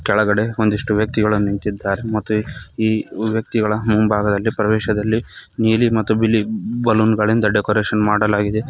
ಕೆಳಗಡೆ ಒಂದಿಷ್ಟು ವ್ಯಕ್ತಿಗಳ ನಿಂತಿದ್ದಾರೆ ಮತ್ತು ಈ ವ್ಯಕ್ತಿಗಳ ಮುಂಭಾಗದಲ್ಲಿ ಪ್ರವೇಶದಲ್ಲಿ ನೀಲಿ ಮತ್ತು ಬಿಳಿ ಬಲೂನ್ ಗಳಿಂದ ಡೆಕೋರೇಷನ್ ಮಾಡಲಾಗಿದೆ.